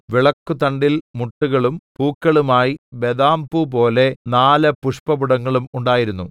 വിളക്കുതണ്ടിൽ മുട്ടുകളും പൂക്കളുമായി ബദാംപൂപോലെ നാല് പുഷ്പപുടങ്ങളും ഉണ്ടായിരുന്നു